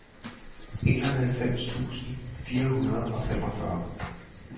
enoghalvfems tusind fire hundrede og femogfyrre